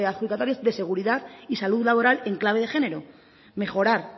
adjudicatarios de seguridad y salud laboral en clave de género mejorar